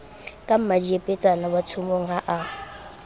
ka mmadiepetsana watshomong ha a